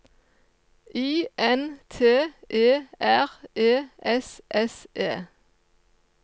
I N T E R E S S E